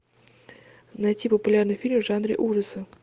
найти популярный фильм в жанре ужасы